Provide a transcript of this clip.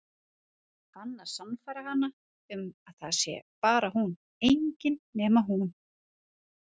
Hann að sannfæra hana um að það sé bara hún, engin nema hún.